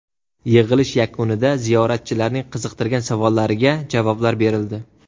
Yig‘ilish yakunida ziyoratchilarning qiziqtirgan savollariga javoblar berildi.